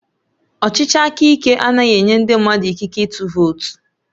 Ọchịchị aka ike anaghị enye ndị mmadụ ikike ịtụ vootu